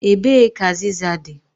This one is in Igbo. Ebee ka azịza dị?